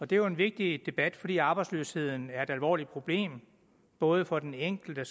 det er jo en vigtig debat fordi arbejdsløsheden er et alvorligt problem både for den enkelte